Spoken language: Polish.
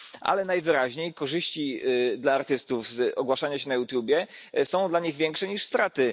Ale najwyraźniej korzyści dla artystów z ogłaszania się na YouTube są dla nich większe niż straty.